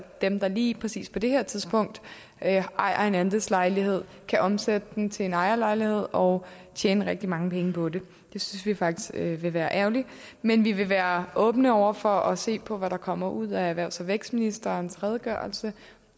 dem der lige præcis på det her tidspunkt ejer en andelslejlighed kan omsætte den til en ejerlejlighed og tjene rigtig mange penge på det det synes vi faktisk ville være ærgerligt men vi vil være åbne over for at se på hvad der kommer ud af erhvervs og vækstministerens redegørelse